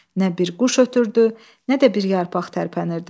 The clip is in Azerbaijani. Nə bir quş ötürdü, nə də bir yarpaq tərpənirdi.